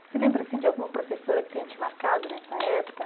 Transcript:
Você lembra de alguma professora que tenha te marcado nessa época?